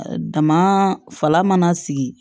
Dama fala mana sigi